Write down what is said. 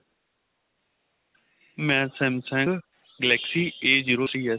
ਮੈਂ Samsung galaxy A zero C S